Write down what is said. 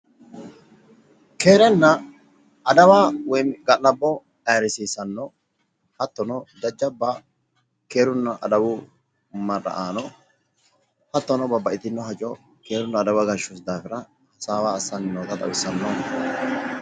Keerenna adawa woyi ga'labbo ayirisiissanno hattono jajjabba keeruna adawu marra'aano hatono jajjabba keerunna adawu marra'aano hattono babbaxitino hajo keerunna adawu daafira hasaawa assanni noota xawissanno.